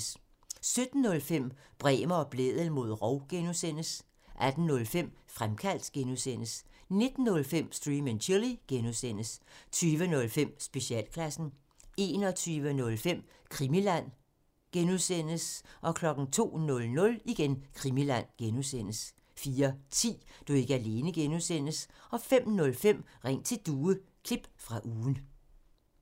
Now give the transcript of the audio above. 17:05: Bremer og Blædel mod rov (G) 18:05: Fremkaldt (G) 19:05: Stream and Chill (G) 20:05: Specialklassen 21:05: Krimiland (G) 02:00: Krimiland (G) 04:10: Du er ikke alene (G) 05:05: Ring til Due – klip fra ugen